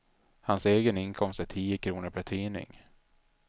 Hans egen inkomst är tio kronor per tidning.